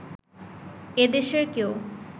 এ দেশের কেউ